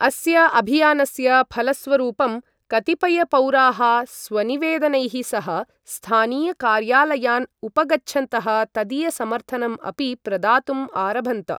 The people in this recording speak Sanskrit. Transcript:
अस्य अभियानस्य फलस्वरूपं कतिपयपौराः स्वनिवेदनैः सह स्थानीयकार्यालयान् उपगच्छन्तः तदीयसमर्थनम् अपि प्रदातुम् आरभन्त।